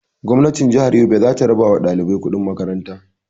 Gwamnatin jihar Yobe zata raba wa ɗalibai kuɗin makaran ta